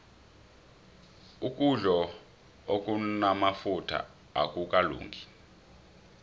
ukudlo okunamafutha akukalungi